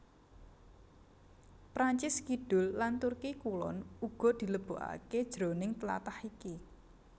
Prancis Kidul lan Turki Kulon uga dilebokaké jroning tlatah iki